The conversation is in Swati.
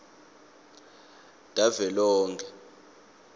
tavelonkhe